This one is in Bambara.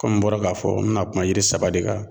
n bɔra ka fɔ n be na kuma yiri saba de kan.